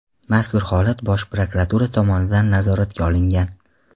Mazkur holat Bosh prokuratura tomonidan nazoratga olingan.